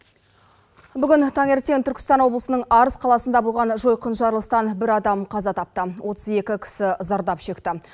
бүгін таңертең түркістан облысының арыс қаласында болған жойқын жарылыстан бір адам қаза тапты отыз екі кісі зардап шекті